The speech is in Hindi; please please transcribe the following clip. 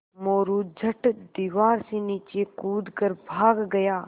मोरू झट दीवार से नीचे कूद कर भाग गया